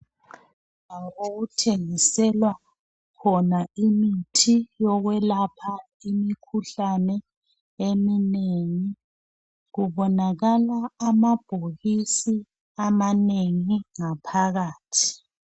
Okuthengiselwa khona imithi yokwelapha imikhuhlane eminengi, kubonakala amabhokisi amanengi ngaphakathi.